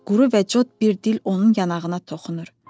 Quru və cırtdan bir dil onun yanağına toxunur.